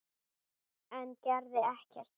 Enn gerðist ekkert.